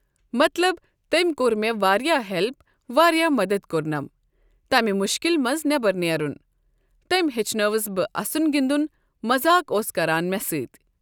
مطلب تٔمۍ کوٚر مےٚ واریاہ ہؠلپ واریاہ مَدد کۆرنم۔ تمہِ مشکل منٛز نیبَر نیرن۔ تٔمۍ ہیٚچھنٲوٕس بہٕ اَسُن گِندُن مَزاق اوس کَران مےٚ سۭتۍ۔